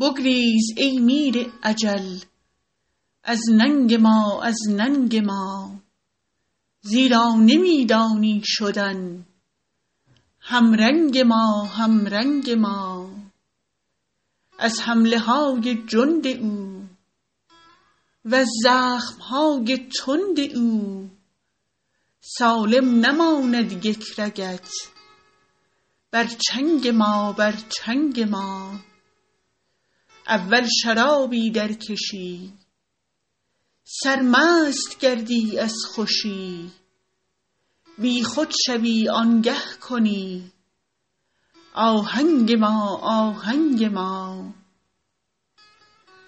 بگریز ای میر اجل از ننگ ما از ننگ ما زیرا نمی دانی شدن همرنگ ما همرنگ ما از حمله های جند او وز زخم های تند او سالم نماند یک رگت بر چنگ ما بر چنگ ما اول شرابی درکشی سرمست گردی از خوشی بیخود شوی آنگه کنی آهنگ ما آهنگ ما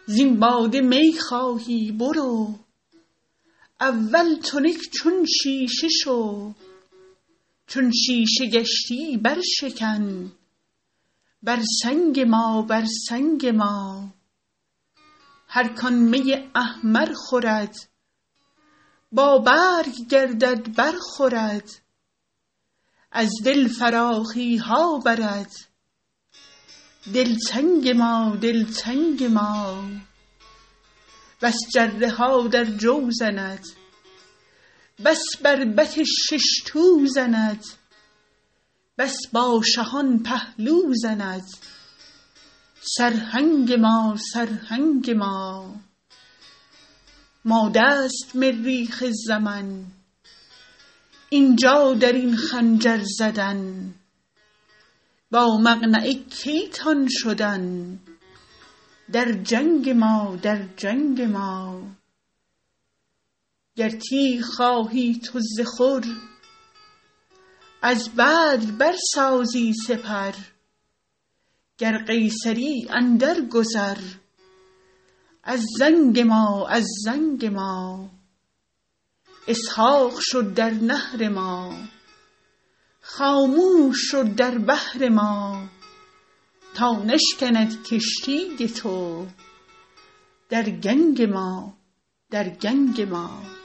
زین باده می خواهی برو اول تنک چون شیشه شو چون شیشه گشتی برشکن بر سنگ ما بر سنگ ما هر کان می احمر خورد بابرگ گردد برخورد از دل فراخی ها برد دلتنگ ما دلتنگ ما بس جره ها در جو زند بس بربط شش تو زند بس با شهان پهلو زند سرهنگ ما سرهنگ ما ماده است مریخ زمن این جا در این خنجر زدن با مقنعه کی تان شدن در جنگ ما در جنگ ما گر تیغ خواهی تو ز خور از بدر برسازی سپر گر قیصری اندرگذر از زنگ ما از زنگ ما اسحاق شو در نحر ما خاموش شو در بحر ما تا نشکند کشتی تو در گنگ ما در گنگ ما